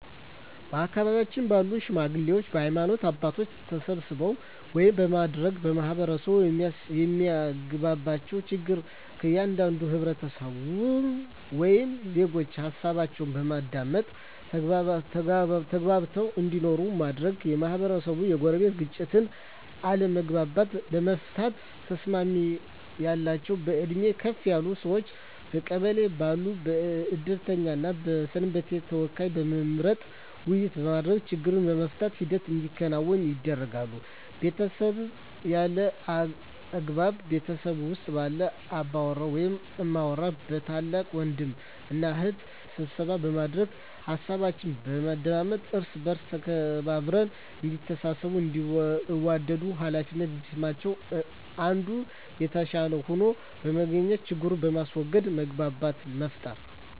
በአካባቢው ባሉ ሽማግሌዎች በሀይማኖት አባቶች ተሰብስበው ውይይት በማድረግ ማህበረሰቡ የማያግባባቸውን ችግር ከእያንዳንዱ ህብረተሰብ ወይም ዜጎች ሀሳባቸውን በማዳመጥ ተግባብተው እንዲኖሩ ማድረግ, የማህበረሰቡን የጎረቤት ግጭቶችን አለመግባባቶችን ለመፍታት ተሰሚነት ያላቸውን በእድሜ ከፍ ያሉ ሰዎችን በቀበሌው ባሉ የእድርተኛ እና የሰንበቴ ተወካዮችን በመምረጥ ውይይት በማድረግ ችግሩን የመፍታት ሂደት እንዲከናወን ያደርጋሉ። በቤተሰብ ያሉ አለመግባባቶችን ቤት ውስጥ ባሉ አባወራ ወይም እማወራ በታላቅ ወንድም እና እህት ስብሰባ በማድረግ ሀሳባቸውን በማዳመጥ እርስ በእርስ ተከባብረው እዲተሳሰቡ እንዲዋደዱ ሃላፊነት እንዲሰማቸው አንዱ ከአንዱ የተሻለ ሆኖ በመገኘት ችግርን በማስዎገድ መግባባትን መፍጠር።